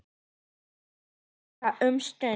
Bíð átekta um stund.